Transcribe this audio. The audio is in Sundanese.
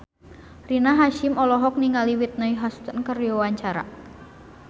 Rina Hasyim olohok ningali Whitney Houston keur diwawancara